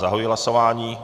Zahajuji hlasování.